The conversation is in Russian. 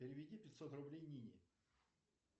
переведи пятьсот рублей нине